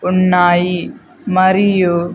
ఉన్నాయి మరియు--